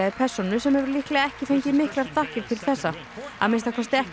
persónu sem hefur líklega ekki fengið miklar þakkir til þessa að minnsta kosti ekki á